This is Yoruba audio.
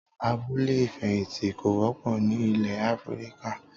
Abúlé ìfẹ̀yìntì kò wọ́pọ̀ ni ilé Áfríkà.